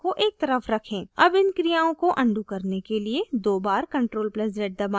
अब इन क्रियाओं को अनडू करने के लिए दो बार ctrl + z दबाएं